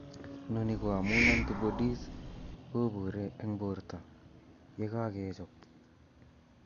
Noni ko amun antibodies kobuure eng' borto ye kakechob